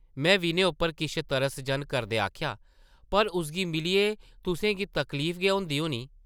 में विनय उप्पर किश तरस जन करदे आखेआ, ‘‘पर उसगी मिलियै तुसें गी तकलीफ गै होंदी होनी?’’